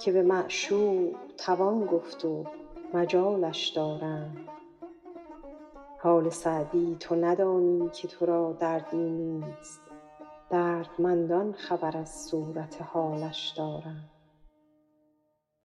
که به معشوق توان گفت و مجالش دارند حال سعدی تو ندانی که تو را دردی نیست دردمندان خبر از صورت حالش دارند